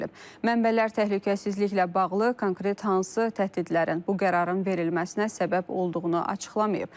Mənbələr təhlükəsizliklə bağlı konkret hansı təhdidlərin bu qərarın verilməsinə səbəb olduğunu açıqlamayıb.